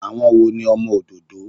Àwọn wo ni ọmọ òdòdó?